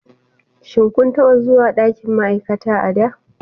Shin kun taɓa zuwa ɗakin ma'aikata a da?